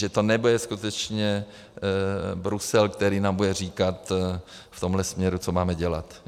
Že to nebude skutečně Brusel, který nám bude říkat v tomhle směru, co máme dělat.